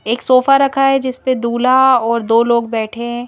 एक सोफा रखा है जिस पर दूल्हा और दो लोग बैठे हैं।